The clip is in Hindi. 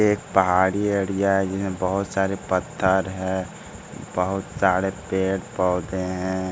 एक पहाड़ी एरिया है जिनमें बहुत सारे पत्थर हैं बहुत सारे पेड़-पौधे हैं।